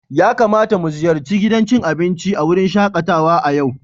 Ya kamata mu ziyarci gidan cin abinci a wurin shakatawa a yau?